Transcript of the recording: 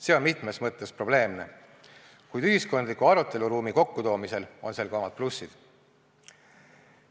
See on mitmes mõttes probleemne, kuid ühiskondliku aruteluruumi kokkutoomisel on sel ka omad plussid.